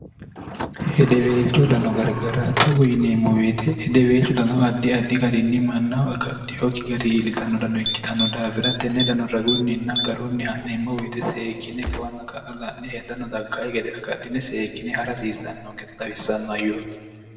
hedeweelcho dano gargara togu yineemmu woyte hedeweelchu danoo addi addi garinni mannaho agadhiyookki gari iillitanno dano ikkitanno daafira tenne dano ragunninna garunni ha'neemmo woyite seekkine kawanna ka'a la'ne hedanno daggayi gede agadhine seekkine ha'ra hasiissanno awissanno hayyooti